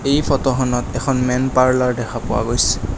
এই ফটোখনত এখন মেন পাৰ্লাৰ দেখা পোৱা গৈছ--